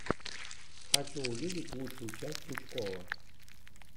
хочу увидеть лучшую часть пучкова